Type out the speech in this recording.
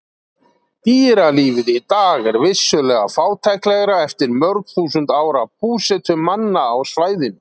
Dýralífið í dag er vissulega fátæklegra eftir mörg þúsund ára búsetu manna á svæðinu.